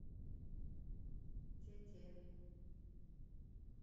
тете